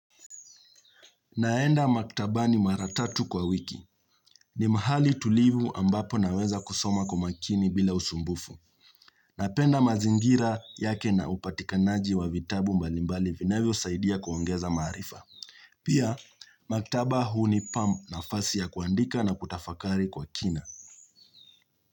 Naenda maktabani mara tatu kwa wiki. Ni mahali tulivu ambapo naweza kusoma kwa makini bila usumbufu. Napenda mazingira yake na upatikanaji wa vitabu mbalimbali vinavyosaidia kuongeza maarifa. Pia, maktaba hunipa nafasi ya kuandika na kutafakari kwa kina.